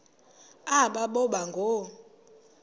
aba boba ngoo